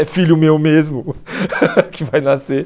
É filho meu mesmo que vai nascer.